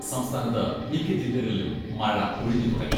സംസ്ഥാനത്ത് മിക്ക ജില്ലകളിലും മഴ ഒഴിഞ്ഞു തുടങ്ങി.